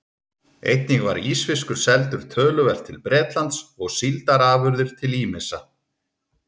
Einnig var ísfiskur seldur töluvert til Bretlands og síldarafurðir til ýmissa